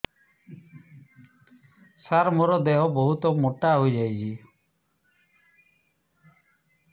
ସାର ମୋର ଦେହ ବହୁତ ମୋଟା ହୋଇଯାଉଛି